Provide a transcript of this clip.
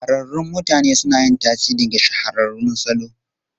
Shahararrun mutane suna yin tasiri ga shahararrun salo.